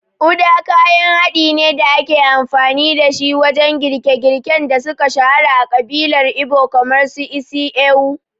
Uda kayan haɗin ne da ake amfani dashi wajen girke-girken da suka shahara a ƙabilar Igbo kamar su isi ewu.